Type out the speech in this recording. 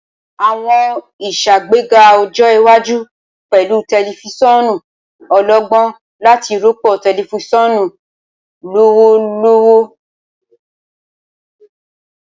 Awọn iṣagbega ọjọ iwaju pẹlu tẹlifisiọnu ọlọgbọn lati rọpo tẹlifisiọnu lọwọlọwọ.